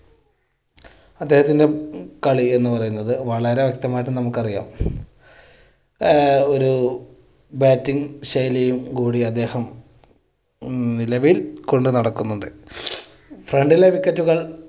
അദ്ദേഹത്തിൻ്റെ കളിയെന്ന് പറയുന്നത് വളരെ വ്യക്തമായിട്ട് നമുക്ക് അറിയാം. ഹും ആ ഒരു batting ശൈലിയും കൂടി അദ്ദേഹം നിലവിൽ കൊണ്ട് നടക്കുന്നുണ്ട്. front ലെ wicket കൾ